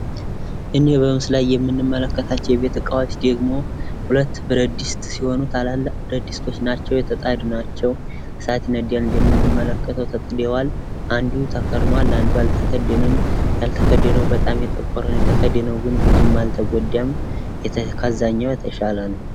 እኚህ በምስሉ ላይ የምንመለከታቸው የቤት እቃዎች ደግሞ ሁለት ብረትድስት ሲሆኑ ታላላቅ ብረትድስት ናቸው የተጣዱ ናቸው። እሳት ይነዳል እንደምንመለከተው ተጥደዋል አንዱ ተከድኗል አንዱ አልተከደነም ያልተከደነው በጣም የጠቆረ ነው የተከደነው ግን ብዙም አልተጎዳም ከዛኛው የተሻለ ነው።